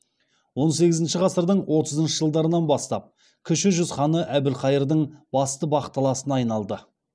он сегізінші ғасырдың отызыншы жылдарынан бастап кіші жүз ханы әбілқайырдың басты бақталасына айналады